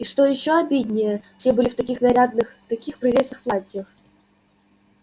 и что ещё обиднее все были в таких нарядных таких прелестных платьях